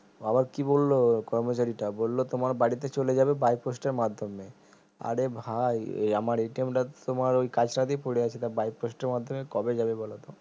আবার কি বললো কর্মচারি টা বললো তোমার বাড়িতে চলে যাবে by post এর মাধ্যমে আরে ভাই এ আমার টা তোমার ওই কাছরা তে পরে আছে তা by post এর মাধ্যমে কবে যাবে বলতো